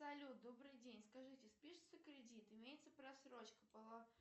салют добрый день скажите спишется кредит имеется просрочка